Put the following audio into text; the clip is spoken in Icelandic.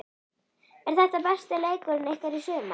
Er þetta besti leikurinn ykkar í sumar?